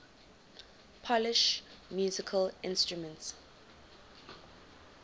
polish musical instruments